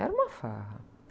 Era uma farra.